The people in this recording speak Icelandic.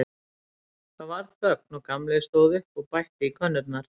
Það varð þögn og Gamli stóð upp og bætti í könnurnar.